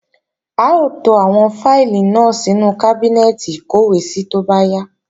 A ó to àwọn fáìlì náà sínú kábínẹ́ẹ̀tì ìkọ́wèésí tó bá yá